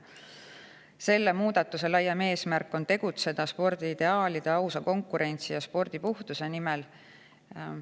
Selle muudatuse laiem eesmärk on tegutseda spordiideaalide, ausa konkurentsi ja spordipuhtuse nimel.